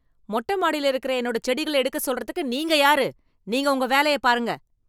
மொட்ட மாடியில் இருக்கிற என்னோட செடிகள எடுக்க சொல்றதுக்கு நீங்க யாரு? நீங்க உங்க வேலையப் பாருங்க